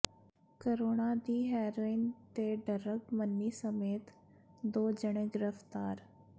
ਕਰੋੜਾਂ ਦੀ ਹੈਰੋਇਨ ਤੇ ਡਰੱਗ ਮਨੀ ਸਮੇਤ ਦੋ ਜਣੇ ਗ੍ਰਿਫ਼ਤਾਰ